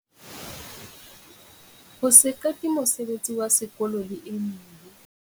Ho se qete mosebetsi wa sekolo le e meng.